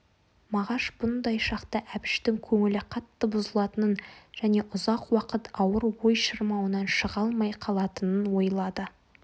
мағаш бұндай шақта әбіштің көңілі қатты бұзылатынын және ұзақ уақыт ауыр ой шырмауынан шыға алмай қалатынын ойлады